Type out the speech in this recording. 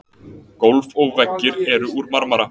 gólf og veggir eru úr marmara